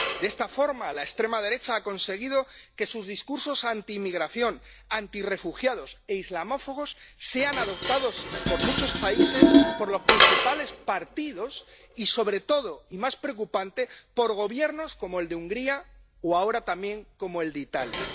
De esta forma, la extrema derecha ha conseguido que sus discursos antiinmigración, antirrefugiados e islamófobos sean adoptados en muchos países por los principales partidos y, sobre todo y más preocupante, por gobiernos como el de Hungría o ahora también como el de Italia.